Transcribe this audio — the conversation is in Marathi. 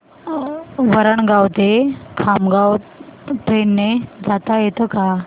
वरणगाव ते खामगाव ट्रेन ने जाता येतं का